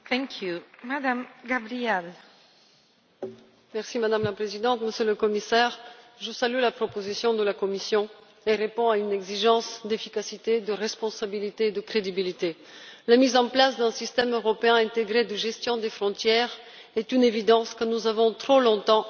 Madame la Présidente, Monsieur le Commissaire, je salue la proposition de la Commission, qui répond à une exigence d'efficacité, de responsabilité et de crédibilité. La mise en place d'un système européen intégré de gestion des frontières est une évidence que nous avons trop longtemps remise au lendemain. Aujourd'hui, je voudrais poser deux séries de questions.